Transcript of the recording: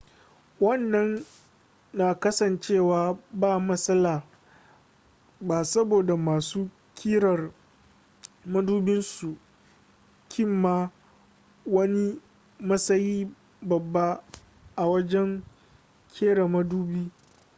wannan na kasancewa ba matsala ba saboda masu ƙirar madubin sun cimma wani matsayi babba a wajen ƙera madubi